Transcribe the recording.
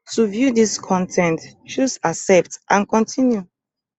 to view dis con ten t choose accept and continue